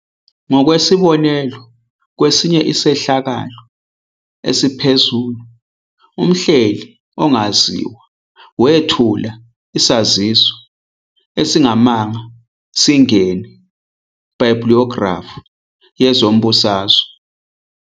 Ngokwesibonelo, kwesinye isehlakalo esiphezulu, umhleli ongaziwa wethula isaziso esingamanga singene bibliyogilafu yezombusazwe